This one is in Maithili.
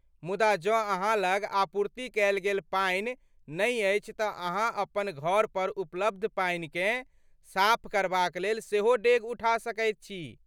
मुदा जँ अहाँ लग आपूर्ति कयल गेल पानि नहि अछि तँ अहाँ अपन घर पर उपलब्ध पानिकेँ साफ करबाक लेल सेहो डेग उठा सकैत छी।